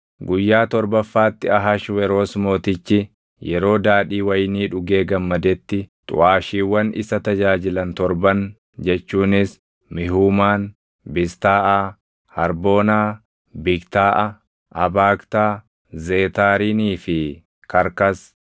Guyyaa torbaffaatti Ahashweroos Mootichi yeroo daadhii wayinii dhugee gammadetti xuʼaashiiwwan isa tajaajilan torban jechuunis Mihuumaan, Biztaaʼaa, Harboonaa, Bigtaaʼa, Abaagtaa, Zeetaarinii fi Karkas